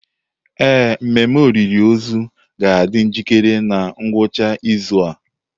Ee, mmemme olili ozu ga-adị njikere na ngwụcha izu a.